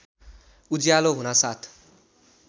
उज्यालो हुनासाथ